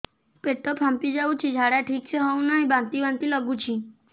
ପେଟ ଫାମ୍ପି ଯାଉଛି ଝାଡା ଠିକ ସେ ହଉନାହିଁ ବାନ୍ତି ବାନ୍ତି ଲଗୁଛି